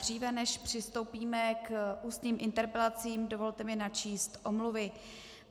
Dříve než přistoupíme k ústním interpelacím, dovolte mi načíst omluvy.